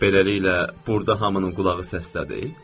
Beləliklə, burda hamının qulağı səslədi?